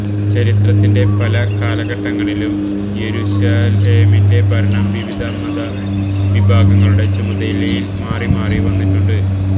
ചരിത്രത്തിന്റെ പല കാലഘട്ടങ്ങളിലും യെരുശലേമിന്റെ ഭരണം വിവിധ മതവിഭാഗങ്ങളുടെ ചുമതലയിൽ മാറിമാറി വന്നിട്ടുണ്ട്